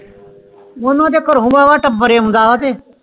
ਮੋਨੂੰ ਤੇ ਘਰੋਂ ਬਾਬਾ ਟੱਬਰ ਆਂਉਦਾ ਵ ਥੇ